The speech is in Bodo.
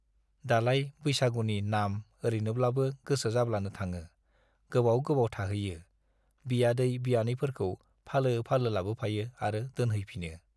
दालाय बैसागुनि नाम - ओरैनोब्लाबो गोसो जाब्लानो थाङो - गोबाव गोबाव थाहैयो, बियादै-बियानैफोरखौ फालो-फालो लाबोफायो आरो दोनहैफिनो।